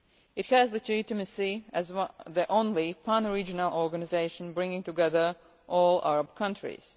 It has legitimacy as the only pan regional organisation bringing together all Arab countries.